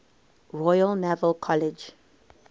royal naval college